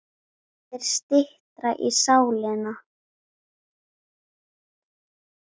Þá er styttra í sálina.